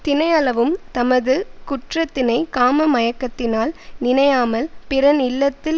தினையளவும் தமது குற்றத்தினை காம மயக்கத்தினால் நினையாமல் பிறன் இல்லத்தில்